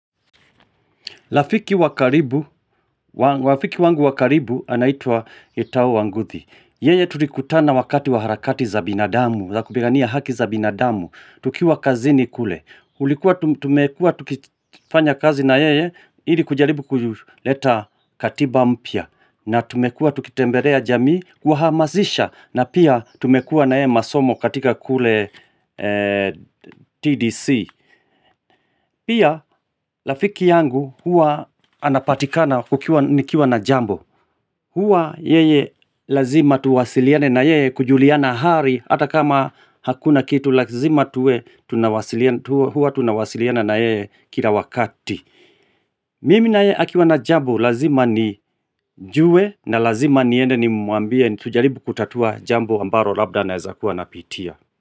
Rafiki wa karibu, rafiki wangu wa karibu, anaitwa Gitau Wanguthi. Yeye tulikutana wakati wa harakati za binadamu, za kupigania haki za binadamu, tukiwa kazini kule. Tulikuwa tumekuwa tukifanya kazi na yeye, ili kujaribu kuleta katiba mpya. Na tumekua tukitembelea jamii, kuwahamasisha, na pia tumekua na yeye masomo katika kule TDC. Pia rafiki yangu huwa anapatikana kukiwa nikiwa na jambo Huwa yeye lazima tuwasiliane na yeye kujuliana hali ha ta kama hakuna kitu lazima tuwe tunawasiliana Huwa tunawasiliana na yeye kila wakati Mimi na yeye akiwa na jambo lazima nijue na lazima niende nimuambie tujaribu kutatua jambo ambalo labda anaweza kuwa anapitia.